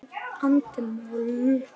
andi moll.